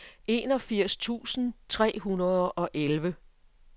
enogfirs tusind tre hundrede og elleve